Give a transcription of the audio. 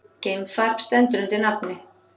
Geimfar stendur undir nafni